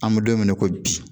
An bɛ don mina i ko bi